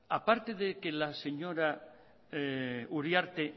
aparte de que la señora uriarte